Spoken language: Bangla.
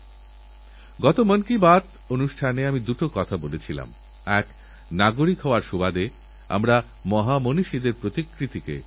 সঙ্গে সঙ্গে রোগ থেকে মুক্তি পাওয়া যায় কিন্তু আমার প্রিয় দেশবাসীএরকম কথায় কথায় অ্যাণ্টিবায়োটিক খাওয়ার অভ্যেস গুরুতর সমস্যার সৃষ্টি করতে পারে